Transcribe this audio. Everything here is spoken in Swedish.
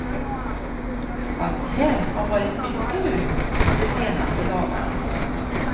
Fast här har varit mycket lugnt de senaste dagarna.